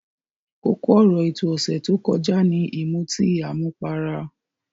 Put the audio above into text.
Kókó ọ̀rọ̀ ètò ọ̀sẹ̀ tó kọjá ni ìmutí àmupara.